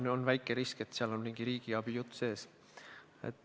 Alati on väike risk, et seal on mingi riigiabi jutt võimalik.